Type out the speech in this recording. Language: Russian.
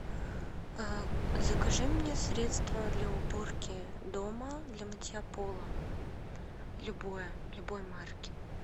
закажи мне средство для уборки дома для мытья пола любое любой марки